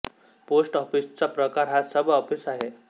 post office चा प्रकार हा सब ऑफिस आहे